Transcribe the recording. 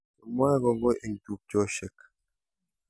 Kimwae kongoi eng tupcheshek